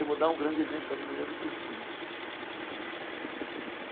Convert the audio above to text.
Eu vou dar um grande exemplo da avenida do Cursino.